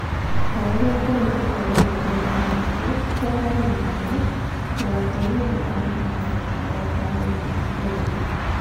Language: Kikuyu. Ta ũrĩa kũri mabũrũri-inĩ mangĩ ma Arabu, kwa Alibya, mũgate naguo warĩ na bata o ta ũrĩa ũrĩa.